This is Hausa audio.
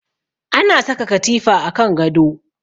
Ana saka katifa kan gado